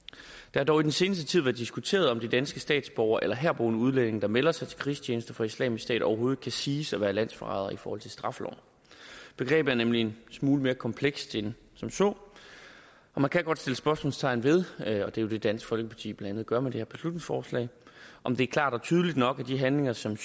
har dog i den seneste tid været diskuteret om de danske statsborgere og herboende udlændinge der melder sig til krigstjeneste for islamisk stat overhovedet kan siges at være landsforrædere i forhold til straffeloven begrebet er nemlig en smule mere komplekst end som så og man kan godt sætte spørgsmålstegn ved og det er jo det dansk folkeparti blandt andet gør med det her beslutningsforslag om det er klart og tydeligt nok at de handlinger som